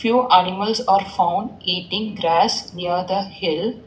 Few animals are formed eating grass near the hill.